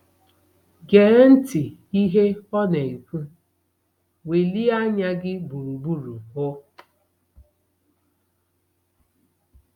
Gee ntị n’ihe ọ na-ekwu: “ Welie anya gị gburugburu hụ !”